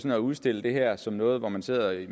at udstille det her som noget med at man sidder i